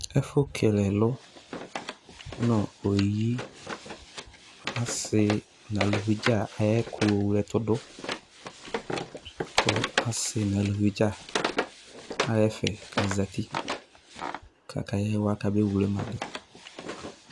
Ɛfʋ kele ɛlʋ nʋ oyi asi n'aluvi dza ayɛkʋ owle ɛtʋdʋ kʋ asi n'alevi dzaa aha ɛfɛ k'azati kakyawa kamewlema dʋ